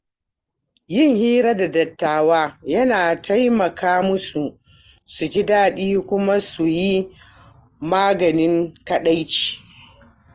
Yin hira da dattawa yana taimaka musu su ji daɗi kuma su yi maganin kaɗaici.